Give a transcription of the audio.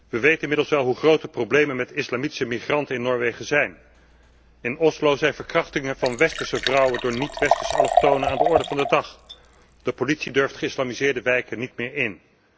We weten inmiddels wel hoe groot de problemen met islamitische migranten in Noorwegen zijn. In Oslo zijn verkrachtingen van westerse vrouwen door niet westerse allochtonen aan de orde van de dag. De politie durft geïslamiseerde wijken niet meer in.